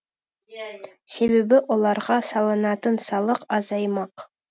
себебі оларға салынатын салық азаймақ